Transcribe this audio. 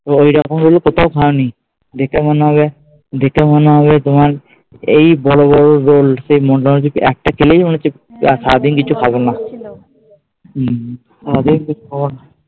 অইরকম roll কোথাও খাওনি। দিতে মনে হবে, দেখে মনে হবে তোমার এই বড় বড় রোল সেই মনে হয় জদি একটা খেলেই মনে হচ্ছে আর সারাদিন কিছু খাবনা। হুম